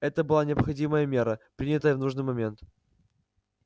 это была необходимая мера принятая в нужный момент